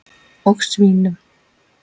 Og svínum.